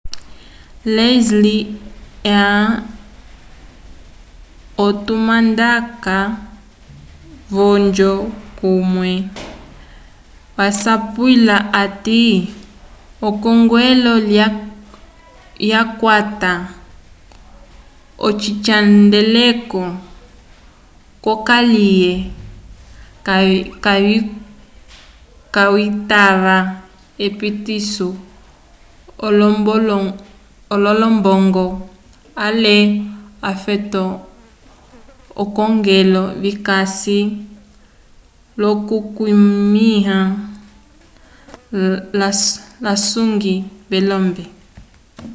leslie aun otumandaka wonjo komen wasapwila hati ekongelo lyakwata ocihandeleko c'okaliye kayitava epitiso yolombongo ale ofeto k'akongelo vikasi l'okukwamĩwa l'asongwi velombe